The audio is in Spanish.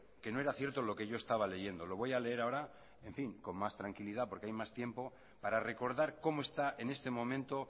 que no era cierto lo que yo estaba leyendo lo voy a leer ahora con más tranquilidad porque hay tiempo para recordar como está en este momento